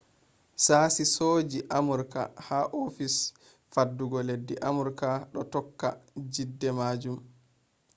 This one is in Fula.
sashi sojaji amurka ha ofis faddugo leddi amurka do tokka jidde majum